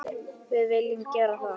Við viljum gera það.